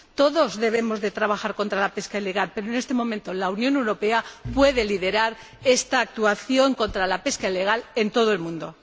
Todos debemos trabajar contra la pesca ilegal, pero, en este momento, la Unión Europea puede liderar esta actuación contra la pesca ilegal en todo el mundo.